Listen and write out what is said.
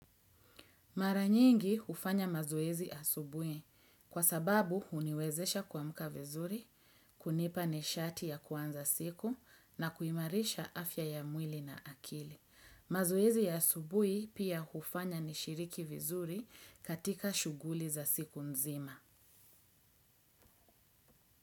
Mara nyingi hufanya mazoezi asubuhi kwa sababu huniwezesha kuamka vizuri, kunipa nishati ya kuanza siku na kuimarisha afya ya mwili na akili. Mazuezi asubui pia ufanya nishiriki vizuri katika shuguli za siku nzima.